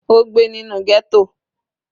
Ó gbé nínú ghetto.